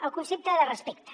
el concepte de respecte